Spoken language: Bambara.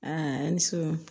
ni so in